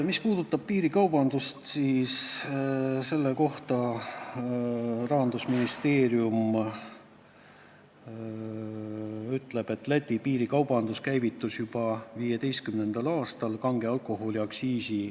Mis puudutab piirikaubandust, siis Rahandusministeerium ütleb, et Läti piiri äärne kaubandus käivitus juba 2015. aastal, kui erinema hakkasid kange alkoholi aktsiisid.